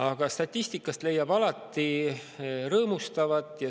Aga statistikast leiab alati rõõmustavat.